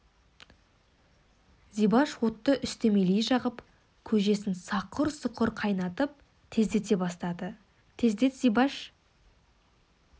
зибаш отты үстемелей жағып көжесін сақыр-сұқыр қайнатып тездете бастады тездет зибаш